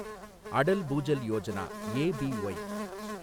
Atal Bhujal Yojana, APY